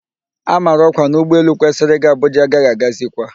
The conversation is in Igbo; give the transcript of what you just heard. A mara ọkwa na ụgbọ elu kwesịrị ị ga Abuja agaghị agazikwa